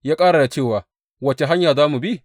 Ya ƙara da cewa, Wace hanya za mu bi?